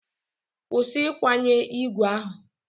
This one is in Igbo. Kwụsị ịkwanye igwe ahụ!